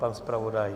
Pan zpravodaj?